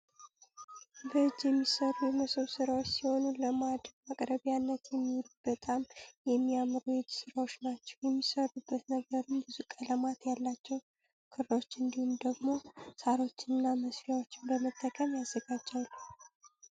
በእጅ የሚሰሩ የመሶብ ስራዎች ሲሆኑ ለማዕድ ማቅረብያነት የሚውሉ በጣም የሚያምሩ የእጅ ስራዎች ናቸው። የሚሰሩበት ነገርም ብዙ ቀለማት ያላቸው ክሮች እንዲሁም ደግሞ ሳሮችንና መስፊዬያ በመጠቀም ይዘጋጃሉ።